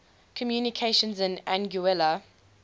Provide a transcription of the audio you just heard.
communications in anguilla